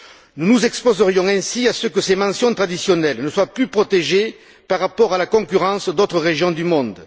Nous nous exposerions ainsi à ce que ces mentions traditionnelles ne soient plus protégées par rapport à la concurrence d'autres régions du monde.